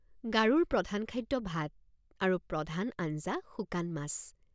গাৰোৰ প্ৰধান খাদ্য ভাত আৰু প্ৰধান আঞ্জা শুকান মাছ।